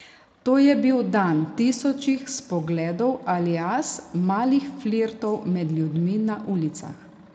To je bil dan tisočih spogledov alias malih flirtov med ljudmi na ulicah.